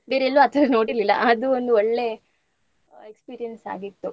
ಬೇರೆಲ್ಲು ಆ ತರಾ ನೋಡಿರ್ಲಿಲ್ಲಾ ಅದು ಒಂದು ಒಳ್ಳೆ experience ಆಗಿತ್ತು.